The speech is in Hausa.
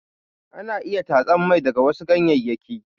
Ana iya tatsan mai daga wasu ganyeyyaki.